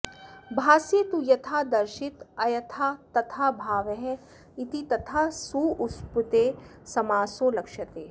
भास्ये तु यथादर्शित अयथातथाभावः इति तथा सुप्सुपेति समासो लक्ष्यते